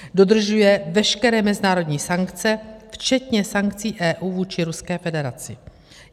Dodržuje veškeré mezinárodní sankce, včetně sankcí EU vůči Ruské federaci.